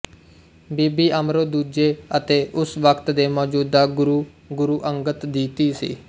ਬੀਬੀ ਅਮਰੋ ਦੂਜੇ ਅਤੇ ਉਸ ਵਕ਼ਤ ਦੇ ਮੌਜੂਦਾ ਗੁਰੂ ਗੁਰ ਅੰਗਦ ਦੀ ਧੀ ਸੀ